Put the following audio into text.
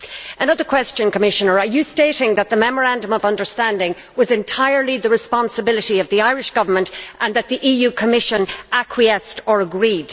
Another question for you, Commissioner are you stating that the Memorandum of Understanding was entirely the responsibility of the Irish Government and that the Commission acquiesced or agreed?